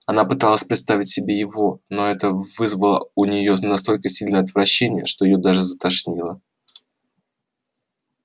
она попыталась представить себе его но это вызвало у неё настолько сильное отвращение что её даже затошнило